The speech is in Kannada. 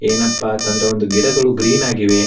ಏನಪ್ಪಾ ಅಂತ ಅಂದ್ರೆ ಗಿಡಗಳು ಗ್ರೀನ್ ಆಗಿವೆ.